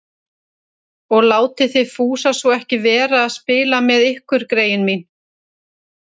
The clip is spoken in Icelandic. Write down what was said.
Og látið þið Fúsa svo ekki vera að spila með ykkur, greyin mín